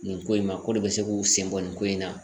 Nin ko in ma ko de bɛ se k'u sen bɔ nin ko in na